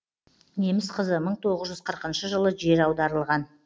неміс қызы мың тоғыз жүз қырқыншы жылы жер аударылған